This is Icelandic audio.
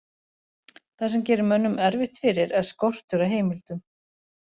Það sem gerir mönnum erfitt fyrir er skortur á heimildum.